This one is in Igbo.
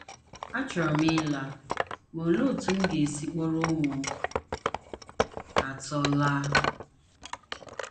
Achọrọ m ịla, ma olee otú m ga - esi kpọrọ ụmụ atọ laa? ”